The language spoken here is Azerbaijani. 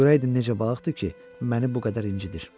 Görəydim necə balıqdır ki, məni bu qədər incidir.